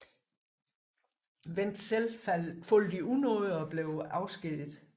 Wendt selv faldt i unåde og blev afskediget